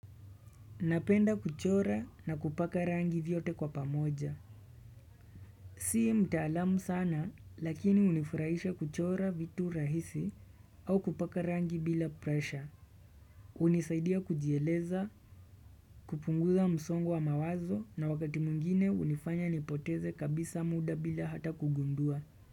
Napenda kuchora na kupaka rangi vyote kwa pamoja Si mtaalamu sana lakini hunifurahisha kuchora vitu rahisi au kupaka rangi bila presha hunisaidia kujieleza, kupunguza msongo wa mawazo na wakati mwingine hunifanya nipoteze kabisa muda bila hata kugundua.